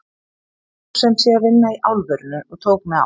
Ég fór sem sé að vinna í álverinu og tók mig á.